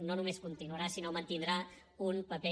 no només continuarà sinó que mantindrà un paper